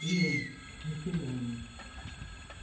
Deixa eu... As Três Lágrimas.